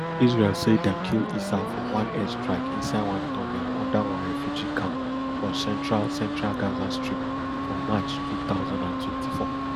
israel say dem kill issa for one air strike inside one tunnel under one refugee camp for central central gaza strip for march two thousand and twenty-four